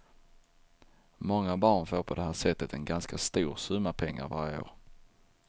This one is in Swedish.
Många barn får på det här sättet en ganska stor summa pengar varje år.